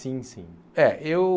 Sim, sim. É eu